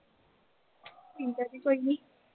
ਠੀਕ ਆ ਜੀ ਕੋਈ ਨੀਂ।